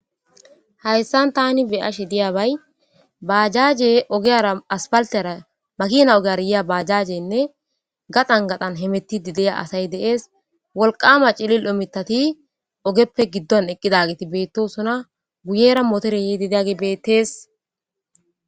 Haysan tani be'ashe diyabay baajaaje ogiyara aspaaltera makeena ogiyara yiya baajaajenne gathan gathan hemetti diya asay de'es, wolqqama diccida mittati ogeppe giddoon eqqidagi bettosona guyera mooteree yidi diya bettees.